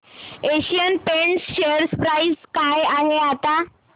Asian Paints share price काय आहे आता